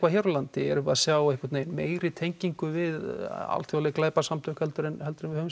hér á landi erum við að sjá einhvern veginn meiri tengingu við alþjóðleg glæpasamtök en við höfum